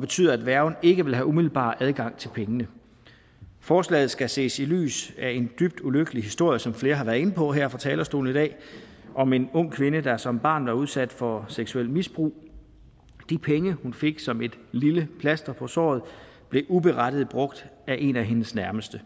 betyder at værgen ikke vil have umiddelbar adgang til pengene forslaget skal ses i lyset af en dybt ulykkelig historie som flere har været inde på her fra talerstolen i dag om en ung kvinde der som barn var udsat for seksuelt misbrug de penge hun fik som et lille plaster på såret blev uberettiget brugt af en af hendes nærmeste